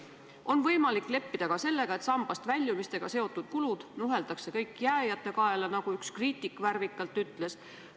On võimalik leppida ka sellega, et sambast väljumistega seotud kulud nuheldakse kõik sinna jääjate kaela, nagu üks kriitik värvikalt ütles.